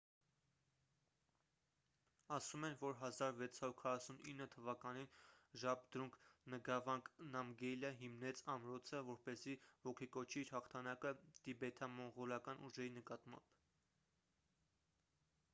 ասում են որ 1649 թվականին ժաբդրունգ նգավանգ նամգյելը հիմնեց ամրոցը որպեսզի ոգեկոչի իր հաղթանակը տիբեթամոնղոլական ուժերի նկատմամբ